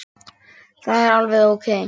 Að minnsta kosti föður sínum.